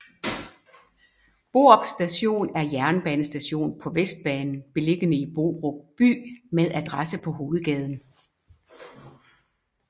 Borup Station er en jernbanestation på Vestbanen beliggende i Borup by med adresse på Hovedgaden